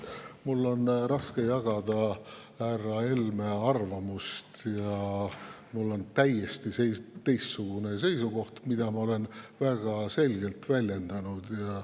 Mul on raske jagada härra Helme arvamust ja mul on täiesti teistsugune seisukoht, mida ma olen väga selgelt väljendanud.